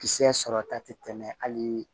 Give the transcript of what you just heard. Kisɛ sɔrɔta tɛ tɛmɛ hali